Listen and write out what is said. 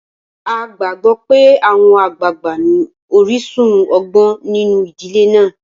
A gbàgbó pé àwọn àgbàgbà ní orísun ọgbọ́n nínu ìdílé náà.